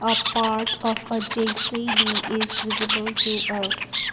a part of a J_C_B is visible to us.